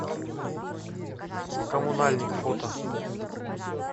коммунальник фото